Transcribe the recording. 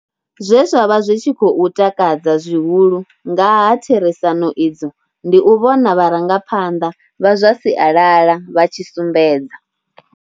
Zwe zwa vha zwi tshi khou takadza zwihulu nga ha therisano idzo ndi u vhona vharangaphanḓa vha zwa sialala vha tshi sumbedza.